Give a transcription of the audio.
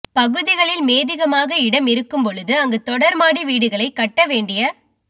பகுதிகளில் மேதிகமாக இடம் இருக்கும் பொழுது அங்கு தொடர்மாடி வீடுகளை கட்ட வேண்டிய